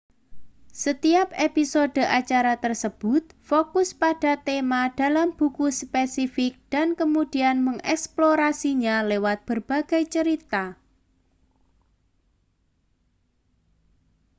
setiap episode acara tersebut fokus pada tema dalam buku spesifik dan kemudian mengeksplorasinya lewat berbagai cerita